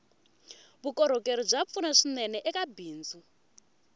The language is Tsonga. vukorhokeri bya pfuna swinene eka bindzu